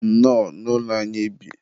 nnọọ, n'ụlọ anyị bi.